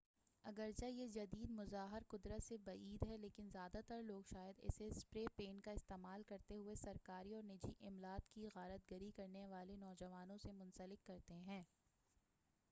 اگرچہ یہ جدید مظہر قدرت سے بعید ہے لیکن زیادہ تر لوگ شاید اسے سپرے پینٹ کا استعمال کرتے ہوئے سرکاری اور نجی املاک کی غارت گری کرنے والے نوجوانوں سے منسلک کرتے ہیں